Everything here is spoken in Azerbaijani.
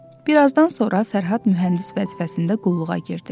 Birazdan sonra Fərhad mühəndis vəzifəsində qulluğa girdi.